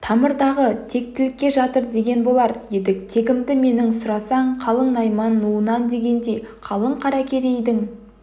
тамырдағы тектілікте жатыр деген болар едік тегімді менің сұрасаң қалың найман нуынан дегендей қалың қаракерейдің